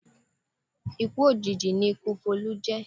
Ikú òjijì ni ikú Folú jẹ̀